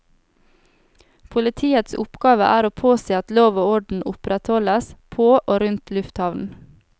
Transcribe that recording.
Politiets oppgave er å påse at lov og orden opprettholdes på og rundt lufthavnen.